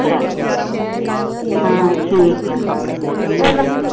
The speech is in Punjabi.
ਅੱਛਾ ਹਾਂ ਠੀਕ ਆ ਚਲੋ।